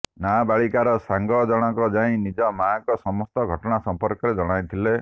ନାବାଳିକାର ସାଙ୍ଗ ଜଣଙ୍କ ଯାଇ ନିଜ ମାଆଙ୍କ ସମସ୍ତ ଘଟଣା ସମ୍ପର୍କରେ ଜଣାଇଥିଲେ